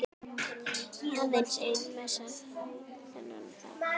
Aðeins ein messa þennan dag.